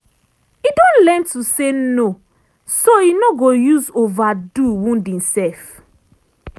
e don learn to say no so e no go use overdo wound imself.